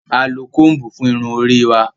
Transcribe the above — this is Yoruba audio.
A lo combu fún Irun orí wà